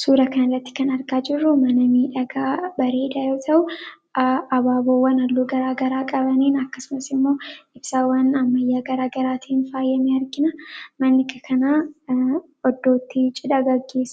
Suuraa Kana irratti kan argaa jirru mana bareedaa dha. Manni kun faayidaa madaalamuu hin dandeenye fi bakka bu’iinsa hin qabne qaba. Jireenya guyyaa guyyaa keessatti ta’ee, karoora yeroo dheeraa milkeessuu keessatti gahee olaanaa taphata. Faayidaan isaa kallattii tokko qofaan osoo hin taane,